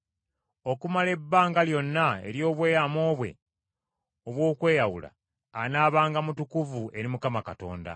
Okumala ebbanga lyonna ery’obweyamo bwe obw’okweyawula, anaabanga mutukuvu eri Mukama Katonda.